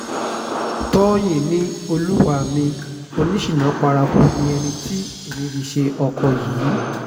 tọ́yìn ni olúwa mi oníṣínà paraku ni ẹni tí mo fi ṣe ọkọ̀ yìí